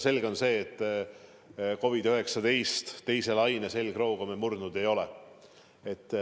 Selge on see, et COVID-19 teise laine selgroogu me murdnud ei ole.